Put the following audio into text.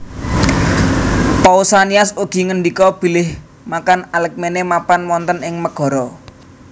Pausanias ugi ngendika bilih makan Alkmene mapan wonten ing Megara